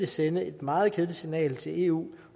sende et meget kedeligt signal til eu